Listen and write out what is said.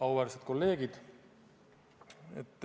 Auväärsed kolleegid!